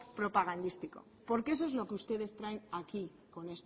propagandístico porque eso es lo que ustedes traen aquí con